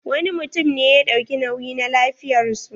Wani mutum ne ya ɗauki nauyi na lafiyar su.